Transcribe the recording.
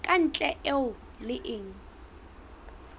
ka ntle eo e leng